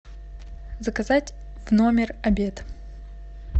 заказать в номер обед